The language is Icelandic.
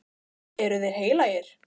Eru þeir heilagir?